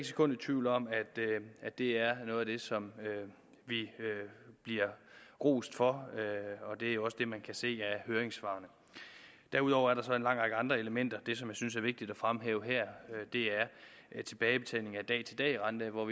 sekund i tvivl om at det er noget af det som vi bliver rost for og det er jo også det man kan se af høringssvarene derudover er der så en lang række andre elementer det som jeg synes er vigtigt at fremhæve her er tilbagebetaling af dag til dag rente og